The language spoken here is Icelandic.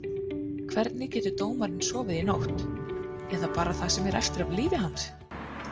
Hvernig getur dómarinn sofið í nótt, eða bara það sem eftir er af lífi hans?